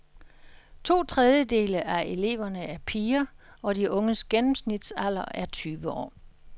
To tredjedele af eleverne er piger, og de unges gennemsnitsalder er tyve år.